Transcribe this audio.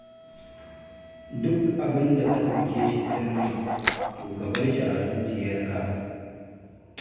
Duk abin da ka ɗauke shi sirri, to ka bar shi a zuciyarka